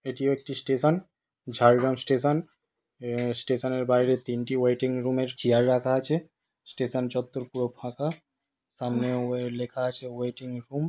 এটিও একটি station Jhargram station ।এ-এ- স্টেশান -এর বাইরে তিনটি ওয়েটিং রুম এর চেয়ার রাখা আছে ।স্টেশান চত্বর পুরো ফাঁকা সামনে ওয়ে--লেখা আছে ওয়েটিং রুম।